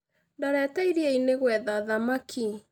Ndorete iria-inĩ gwetha thamaki